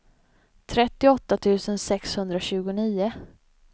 trettioåtta tusen sexhundratjugonio